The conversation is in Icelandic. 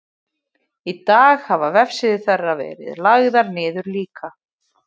í dag hafa vefsíður þeirra verið lagðar niður líka